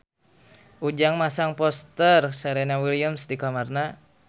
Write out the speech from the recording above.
Ujang masang poster Serena Williams di kamarna